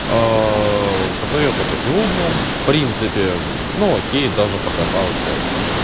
посмотрел только сегодня в принципе ну окей даже покатался